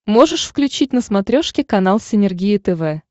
можешь включить на смотрешке канал синергия тв